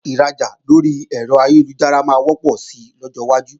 Rírajà lórí ẹ̀rọ ayélujára máa wọ́pọ̀ sí lọ́jọ́ iwájú